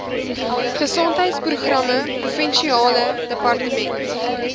gesondheidsprogramme provinsiale departement